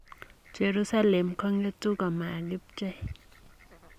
Jerusalem kongetu ko makibchei''